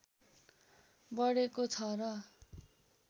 बढेको छ र